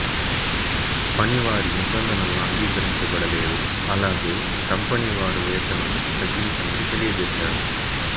పనివారి నిబంధనలను అంగీకరించబడలేదు అలాగే కంపెనీ వారు వేతనం తగ్గించమని తెలియజేసారు